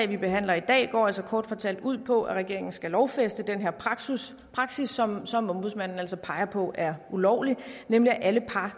vi behandler i dag kort fortalt ud på at regeringen skal lovfæste den her praksis praksis som som ombudsmanden altså peger på er ulovlig nemlig at alle par